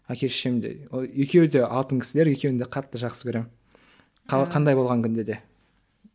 әке шешем де екеуі де алтын кісілер екеуін де қатты жақсы көремін қандай болған күнде де